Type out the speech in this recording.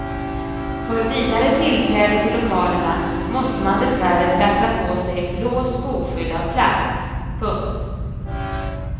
För vidare tillträde till lokalerna måste man dessvärre trassla på sig blå skoskydd av plast. punkt